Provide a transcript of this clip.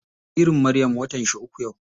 Jaririn Maryam watan shi uku yau.